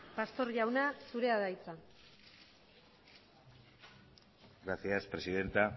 pastor jauna zurea da hitza gracias presidenta